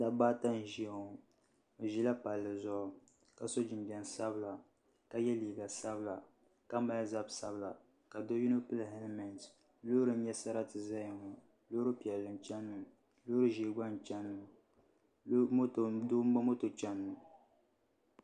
Dabba ata n ʒɛya ŋɔ bi ʒila palli zuɣu ka so jinjɛm sabila ka yɛ liiga sabila ka mali zabi sabila ka do yino pili hɛlmɛnt loori n nyɛ sarati ʒɛya ŋɔ loori piɛlli n chɛni ŋɔ loori ʒiɛ gba n chɛni ŋɔ Doo n ba moto chɛni ŋɔ